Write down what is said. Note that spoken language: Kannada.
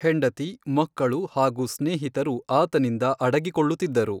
ಹೆಂಡತಿ, ಮಕ್ಕಳು ಹಾಗೂ ಸ್ನೇಹಿತರು ಆತನಿಂದ ಅಡಗಿಕೊಳ್ಳುತ್ತಿದ್ದರು.